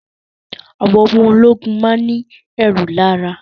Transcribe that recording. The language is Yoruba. Àwọn ọmọ ológun máa ń ní ẹ̀rù lára